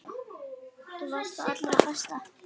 Þú varst það allra besta.